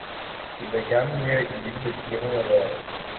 Pidho cham miyo ji yudo chiemo maber